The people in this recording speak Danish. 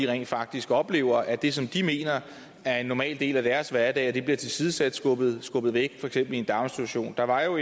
rent faktisk oplever at det som de mener er en normal del af deres hverdag bliver tilsidesat skubbet væk for eksempel i en daginstitution der var jo